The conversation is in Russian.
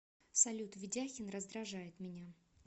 салют ведяхин раздражает меня